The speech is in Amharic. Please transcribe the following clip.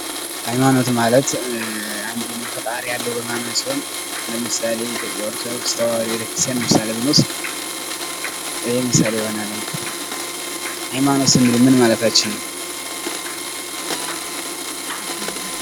ሃይማኖት ማለት አንድን ፈጣሪ ያለው በማመን ሲሆን ለምሳሌ ኢትዮጵያ ኦርቶዶክስ ተዋህዶ ቤተክርስቲያን ምሳሌ ብንወስድ ይሄ ምሳሌ ይሆናል። ሃይማኖት ስንል ምን ማለታችን ነው?